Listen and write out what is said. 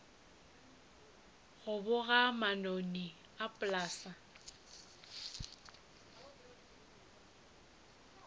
go boga manoni a polase